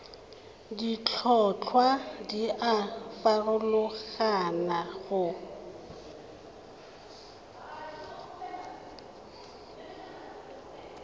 ditlhotlhwa di a farologana go